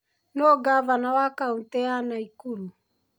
Nũũ Ngavana wa kaũntĩ ya Nakuru?